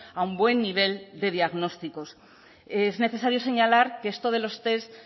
a un buen nivel de diagnósticos es necesario señalar que esto de los test